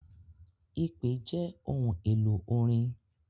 Ipè jẹ ohun elo orin.